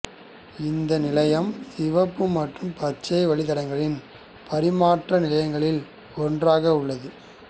இந்த நிலையம் சிகப்பு மற்றும் பச்சை வழிதடங்களின் பரிமாற்ற நிலையங்களில் ஒன்றாக உள்ளது